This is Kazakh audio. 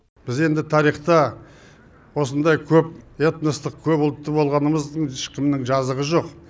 біз енді тарихта осындай көп этностық көпұлтты болғанымыздың ешкімнің жазығы жоқ